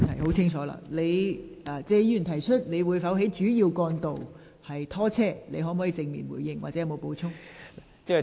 局長，謝議員詢問當局會否在主要道路拖車，你會否正面回應或有否補充？